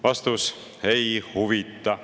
Vastus: ei huvita.